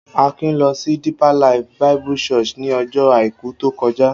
Akin lọ sí Deeper Life Bible Church ní ọjọ́ àìkú tó kọjá.